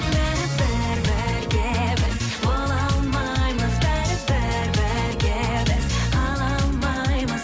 бәрібір бірге біз бола алмаймыз бәрібір бірге біз қала алмаймыз